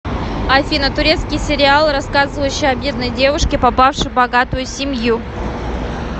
афина турецкий сериал рассказывающий о бедной девушке попавшей богатую семью